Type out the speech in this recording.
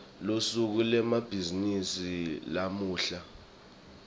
lusuku lwemabhizimisi lamuhla